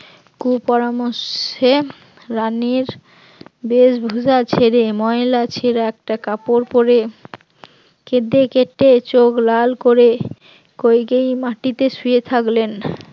কু পরামর্শে রানীর বেশভূষা ছেড়ে ময়লা ছেড়া একটা কাপড় পড়ে কেঁদে কেটে চোখ লাল করে কইকেয়ী মাটিতে শুয়ে থাকলেন